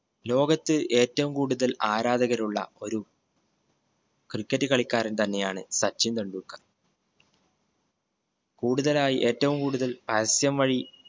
ലോകത്ത് ഏറ്റവ്വും കൂടുതൽ ആരാധകരുള്ള ഒരു cricket കളിക്കാരൻ തന്നെ ആണ് സച്ചിൻ ടെണ്ടുൽക്കർ കൂടുതലായി ഏറ്റവും കൂടുതൽ പരസ്യം വഴി